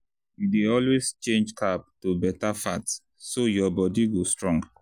you dey always change carb to better fat so your body go strong.